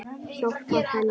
Hjálpað henni.